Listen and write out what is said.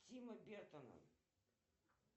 тима бертона